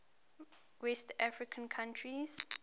west african countries